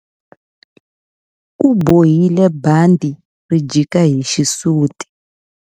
U bohile bandhi ri jika hi xisuti.